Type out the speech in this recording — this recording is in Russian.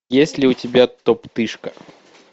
есть ли у тебя топтыжка